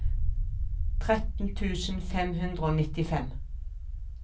tretten tusen fem hundre og nittifem